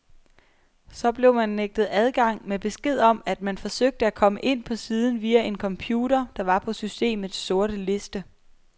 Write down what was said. Så blev man nægtet adgang med besked om, at man forsøgte at komme ind på siden via en computer, der var på systemets sorte liste.